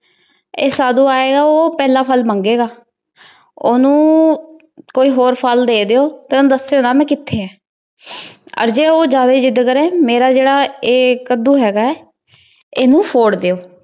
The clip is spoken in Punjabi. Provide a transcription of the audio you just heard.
ਏਇਕ ਸਾਧੂ ਆਯ ਗਾ ਊ ਪੇਹ੍ਲਾਂ ਫਲ ਮੰਗੇਗਾ ਓਹਨੁ ਕੋਈ ਹੋਰ ਫਲ ਦੇ ਦਯੋ ਤੇ ਓਹਨੁ ਦਾਸ੍ਯੋ ਨਾ ਮੈਂ ਕਿਤਹੀ ਆਂ ਓਰ ਜੇ ਓ ਜਾਂਦਾ ਜਿਦ ਕਰੇ ਮੇਰਾ ਜਿਹੜਾ ਕਦੂ ਹਗਾ ਉਹ ਨੂੰ ਫੋੜ ਦੇਯੋ